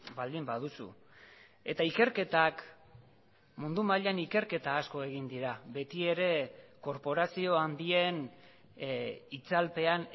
baldin baduzu eta ikerketak mundu mailan ikerketa asko egin dira beti ere korporazio handien itzalpean